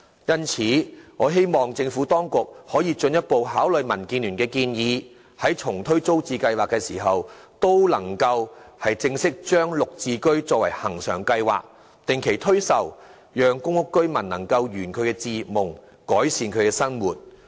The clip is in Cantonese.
因此，我希望政府當局可以進一步考慮民建聯的建議，在重推租置計劃時，能正式把"綠置居"設定為恆常計劃，定期推售，讓公屋居民能圓其置業夢，改善生活。